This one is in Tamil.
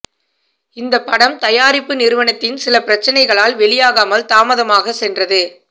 இந்த படம் தயாரிப்பு நிறுவனத்தின் சில பிரச்சனைகளால் வெளியாகாமல் தாமதமாக சென்றது